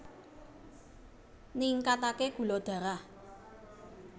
Ningkataké gula darah